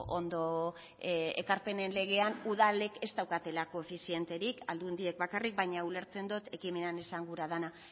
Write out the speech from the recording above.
ondo ekarpenen legean udalek ez daukatela koefizienterik aldundiek bakarrik baina ulertzen dut ekimenean esan gura dena